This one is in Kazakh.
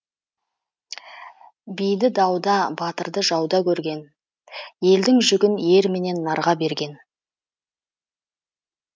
биді дауда батырды жауда көрген елдің жүгін ер менен нарға берген